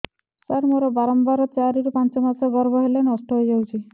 ସାର ମୋର ବାରମ୍ବାର ଚାରି ରୁ ପାଞ୍ଚ ମାସ ଗର୍ଭ ହେଲେ ନଷ୍ଟ ହଇଯାଉଛି